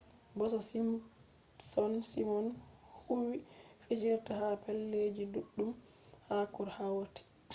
bo ko simpsons simon huwwi fijirde ha pellel ji ɗuɗɗum ha ko hatoi